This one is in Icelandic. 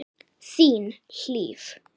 Þín, Hlíf.